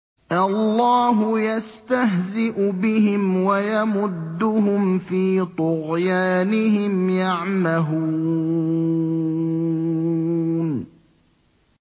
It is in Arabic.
اللَّهُ يَسْتَهْزِئُ بِهِمْ وَيَمُدُّهُمْ فِي طُغْيَانِهِمْ يَعْمَهُونَ